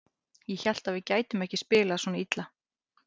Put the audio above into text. Ég hélt að við gætum ekki spilað svona illa.